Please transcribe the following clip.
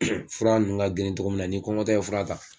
Fura nunnu ka girin togo min na n'i kɔngɔtɔ ye fura ta